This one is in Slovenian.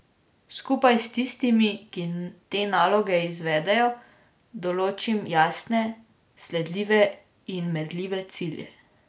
Skupaj s tistimi, ki te naloge izvedejo, določim jasne, sledljive in merljive cilje.